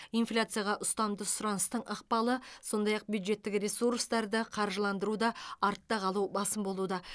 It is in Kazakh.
инфляцияға ұстамды сұраныстың ықпалы сондай ақ бюджеттік ресурстарды қаржыландыруда артта қалу басым болуда